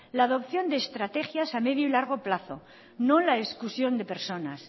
la adopción de estrategias a medio y largo plazo no la exclusión de personas